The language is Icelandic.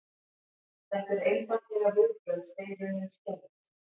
Þetta eru einfaldlega viðbrögð steinrunnins kerfis